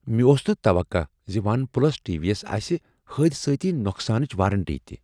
مےٚ اوس نہٕ توقہٕ ز ون پلس ٹی وی یس آسہٕ حٲدِسٲتی نوقسانٕچ وارنٹی تہ ۔